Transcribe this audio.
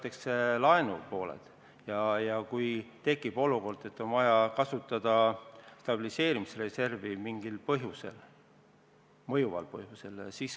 Ja kui tekib olukord, et mingil mõjuval põhjusel on vaja kasutada stabiliseerimisreservi, siis kasutatakse seda.